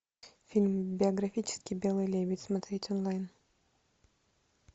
фильм биографический белый лебедь смотреть онлайн